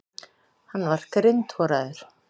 Hann var grindhoraður.